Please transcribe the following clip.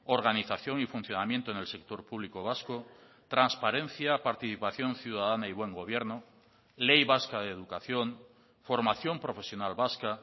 organización y funcionamiento en el sector público vasco transparencia participación ciudadana y buen gobierno ley vasca de educación formación profesional vasca